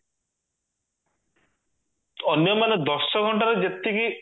ଅନ୍ୟମାନେ ଦଶ ଘଣ୍ଟାରେ ଯେତିକି